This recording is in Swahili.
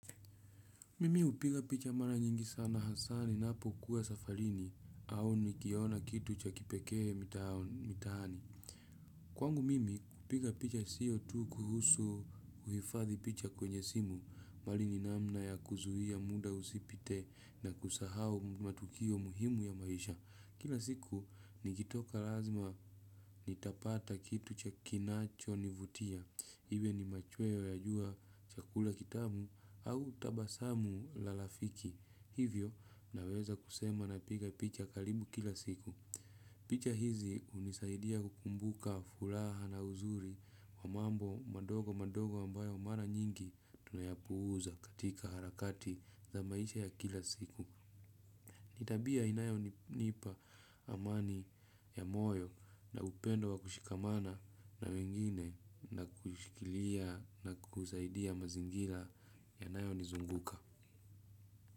Mimi hupiga picha mara nyingi sana hasaa ninapo kuwa safalini au nikiona kitu cha kipekee mtaani. Kwangu mimi kupiga picha siyo tu kuhusu kuhifadhi picha kwenye simu mbali ninamna ya kuzuia muda usipite na kusahau matukio muhimu ya maisha. Kila siku, nikitoka lazima nitapata kitu cha kinacho nivutia. Iwe ni machweo ya jua cha kula kitamu au tabasamu la lafiki. Hivyo, naweza kusema na piga picha kalibu kila siku. Picha hizi hunisaidia kukumbuka fulaha na uzuri wa mambo madogo madogo ambayo mara nyingi tunayapuuza katika harakati za maisha ya kila siku. Nitabia inayo nipa amani ya moyo na upendo wa kushikamana na wengine na kushikilia na kusaidia mazingila inayo nizunguka.